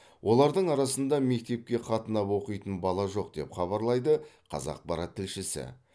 олардың арасында мектепке қатынап оқитын бала жоқ деп хабарлайды қазақпарат тілшісі